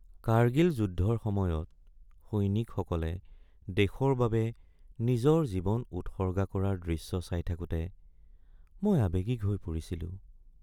কাৰ্গিল যুদ্ধৰ সময়ত সৈনিকসকলে দেশৰ বাবে নিজৰ জীৱন উৎসৰ্গা কৰাৰ দৃশ্য চাই থাকোঁতে মই আৱেগিক হৈ পৰিছিলোঁ।